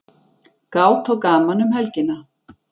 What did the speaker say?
Gát og gaman um helgina